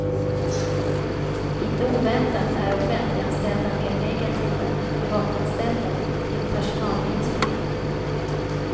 Inte oväntat är offentliganställda mer negativa än privatanställda till personalminskningar.